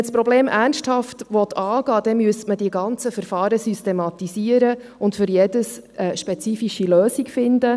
Wollte man das Problem ernsthaft angehen, müsste man die ganzen Verfahren systematisieren und für jedes eine spezifische Lösung finden.